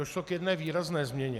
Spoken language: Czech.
Došlo k jedné výrazné změně.